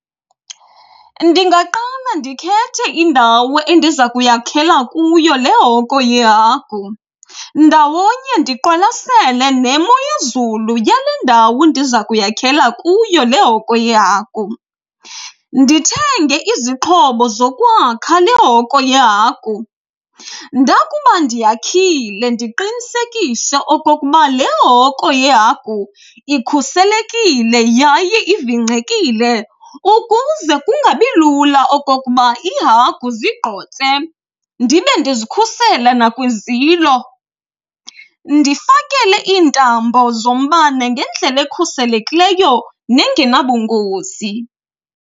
Ndingaqala ndikhethe indawo endiza kuyakhela kuyo le hoko yehagu. Ndawonye ndiqwalasele nemo yezulu yale ndawo ndiza kuyakhela kuyo le hoko yehagu. Ndithenge izixhobo zokwakha le hoko yehagu. Ndakuba ndiyakhile ndiqinisekise okokuba le hoko yehagu ikhuselekile yaye ivingcekile ukuze kungabi lula okokuba iihagu zigqotse. Ndibe ndizikhusele nakwizilo ndifakele iintambo zombane ngendlela ekhuselekileyo nengenabungozi.